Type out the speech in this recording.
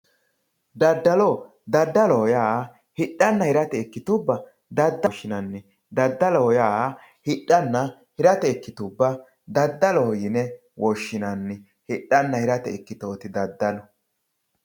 daddalo daddalo yaa hidhanna hiramate ikkitubba daddalo yine woshshinanni daddalo yaa hidhanna hirate ikkitubba daddaloho yine woshshinanni hidhanna hirate ikkitoti daddalu.